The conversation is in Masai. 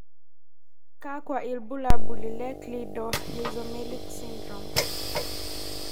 kakwa ibulaul hi Cleidorhizomelic syndrome.